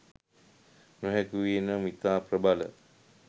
නොහැකි වූයේ නම් ඉතා ප්‍රබල